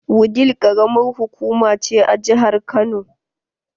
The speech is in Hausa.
Wudil karamar hukuma ce a jihar Kano.